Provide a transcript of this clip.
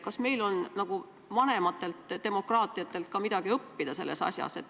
Kas meil on vanematelt demokraatiatelt ka midagi õppida selles asjas?